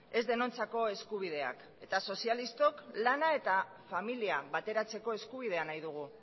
ez denontzako eskubideak eta sozialistok lana eta familia bateratzeko eskubidea nahi dugu